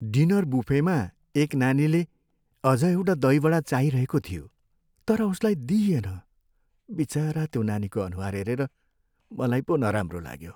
Dinner बुफेमा एक नानीले अझ एउटा दही वडा चाहिरहेको थियो तर उसलाई दिइएन। बिचरा त्यो नानीको अनुहार हेरेर मलाई पो नराम्रो लाग्यो।